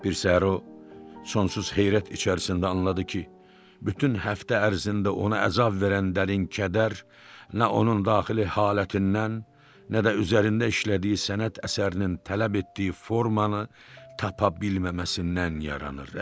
Bir səhər o sonsuz heyrət içərisində anladı ki, bütün həftə ərzində ona əzab verən Dərin Kəbər nə onun daxili halətindən, nə də üzərində işlədiyi sənət əsərinin tələb etdiyi formanı tapa bilməməsindən yaranır.